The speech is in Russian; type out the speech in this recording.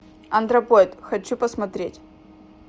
антропоид хочу посмотреть